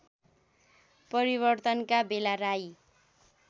परिवर्तनका बेला राई